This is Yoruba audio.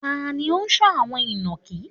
Ta ni ó ń sọ́ àwọn inakí?